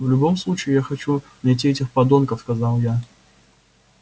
в любом случае я хочу найти этих подонков сказал я